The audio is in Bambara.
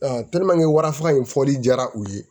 wara faga in fɔli diyara u ye